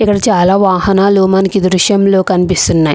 ఇక్కడ చాలా వాహనాలు మనకు ఈ దృశ్యంలో కనిపిస్తున్నాయి.